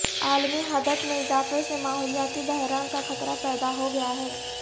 عالمی حدت میں اضافہ سے ماحولیاتی بحران کا خطرہ پیدا ہوگیا ہے